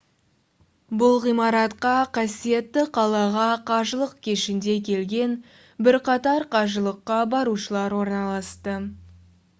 бұл ғимаратқа қасиетті қалаға қажылық кешінде келген бірқатар қажылыққа барушылар орналасты